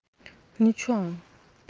ничего